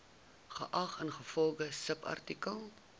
geag ingevolge subartikel